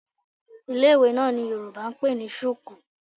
Ilé-ìwé náà ni Yorùbá ń pè ní sùkúù.